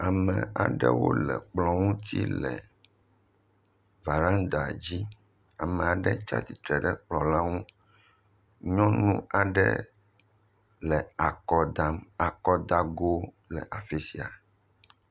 Ame aɖewo le kplɔ ŋuti le varanda dzi, ame aɖe tsatsitre ɖe kplɔ la ŋu, nyɔnu aɖe le akɔ dam, akɔdago le afi sia.